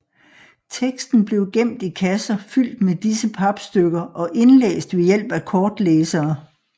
Teksten blev gemt i kasser fyldt med disse papstykker og indlæst ved hjælp af kortlæsere